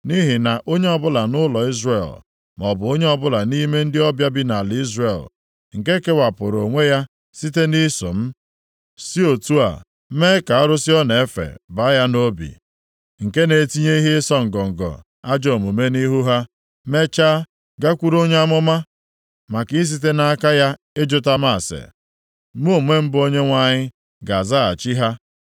“ ‘Nʼihi na onye ọbụla nʼụlọ Izrel maọbụ onye ọbụla nʼime ndị ọbịa bi nʼala Izrel, nke kewapụrụ onwe ya site nʼiso m, si otu a mee ka arụsị ọ na-efe baa ya nʼobi, nke na-etinye ihe ịsọ ngọngọ ajọ omume nʼihu ha, mechaa, gakwuru onye amụma maka isite nʼaka ya ịjụta m ase, mụ onwe m bụ Onyenwe anyị ga-azaghachi ha.